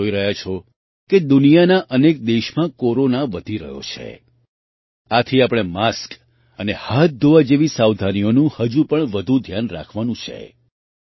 તમે પણ જોઈ રહ્યા છો કે દુનિયાના અનેક દેશમાં કોરોના વધી રહ્યો છે આથી આપણે માસ્ક અને હાથ ધોવા જેવી સાવધાનીઓનું હજુ વધુ ધ્યાન રાખવાનું છે